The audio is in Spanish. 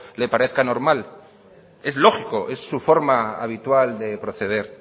le parezca normal es lógico es su forma habitual de proceder